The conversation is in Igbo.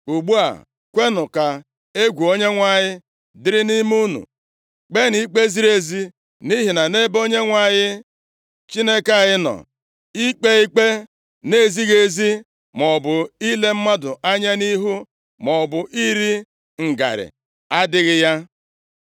Ugbu a, kwenụ ka egwu Onyenwe anyị dịrị nʼime unu. Kpeenụ ikpe ziri ezi, nʼihi na nʼebe Onyenwe anyị Chineke anyị nọ, ikpe ikpe na-ezighị ezi, maọbụ ile mmadụ anya nʼihu maọbụ iri ngarị adịghị ya.”